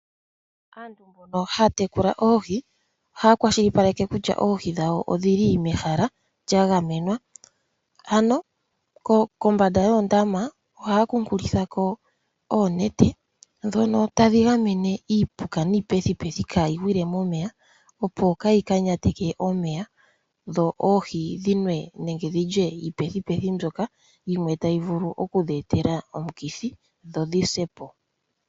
Aantu mbono haya tekula oohi ohaya kwashilipaleke kutya oohi dhawo odhili mehala lya gamenwa, ano kombanda yoondama ohaya kuunkulitha ko oonete ndhono tadhi gamene iipuka niipethipethi kaayi gwile momeya opo kaayi ka nyateke omeya dho oohi dhi nwe nenge dhi lye iipethipethi mbyoka yimwe tayi vulu okudhi etela omukithi dho dhi sepo.